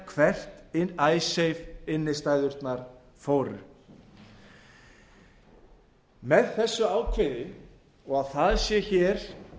við að rekja hvert icesave innstæðurnar fóru með þessu ákvæði og að það sé hér